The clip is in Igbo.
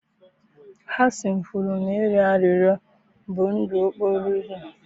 Hasan kwuru na ịrịọ arịrịọ bụ ndụ okporo ụzọ.